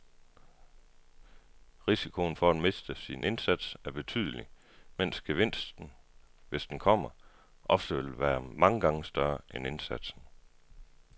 Risikoen for at miste sin indsats er betydelig, mens gevinsten, hvis den kommer, ofte vil være mange gange større end indsatsen.